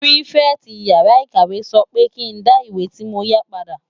Pitifèti iyàrá ikáwé sò pè kin dá iwé ti mó yá pàdá